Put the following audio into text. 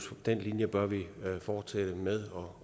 den linje bør vi fortsætte med og